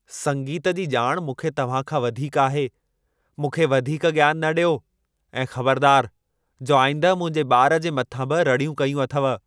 संगीत जी ॼाण मूंखे तव्हां खां वधीक आहे। मूंखे वधीक ज्ञान न ॾियो ऐं ख़बरदार जो आईंदह मुंहिंजे ॿार जे मथां बि रड़ियूं कयूं अथव।